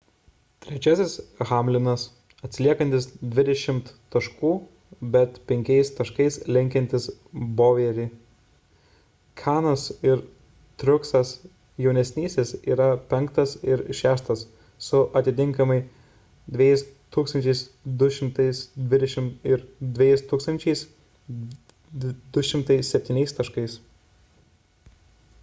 trečias hamlinas atsiliekantis dvidešimt taškų bet penkiais taškais lenkiantis bowyerį kahne'as ir truexas jaun yra penktas ir šeštas su atitinkamai 2220 ir 2207 taškais